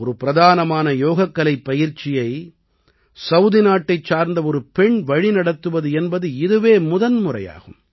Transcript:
ஒரு பிரதானமான யோகக்கலைப் பயிற்சியை சவுதி நாட்டைச் சார்ந்த ஒரு பெண் வழிநடத்துவது என்பது இதுவே முதன் முறையாகும்